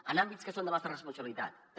en àmbits que són de la nostra responsabilitat també